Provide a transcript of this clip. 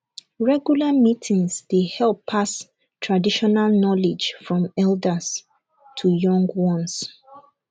regular meetings dey help pass traditional knowledge from elders to young ones